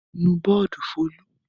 Nù bọ́ọ́dù Folú!